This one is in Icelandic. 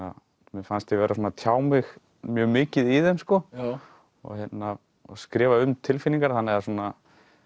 mér fannst ég vera svona að tjá mig mjög mikið í þeim sko og skrifa um tilfinningar þannig að svona